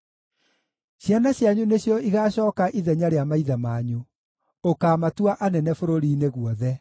Ciana cianyu nĩcio igaacooka ithenya rĩa maithe manyu; ũkaamatua anene bũrũri-inĩ guothe.